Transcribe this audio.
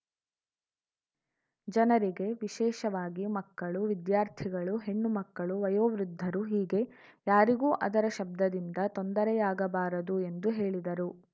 ಜನರಿಗೆ ವಿಶೇಷವಾಗಿ ಮಕ್ಕಳು ವಿದ್ಯಾರ್ಥಿಗಳು ಹೆಣ್ಣು ಮಕ್ಕಳು ವಯೋವೃದ್ಧರು ಹೀಗೆ ಯಾರಿಗೂ ಅದರ ಶಬ್ಧದಿಂದ ತೊಂದರೆಯಾಗಬಾರದು ಎಂದು ಹೇಳಿದರು